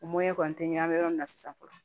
kɔni tɛ ɲɛ bɛ yɔrɔ min na sisan fɔlɔ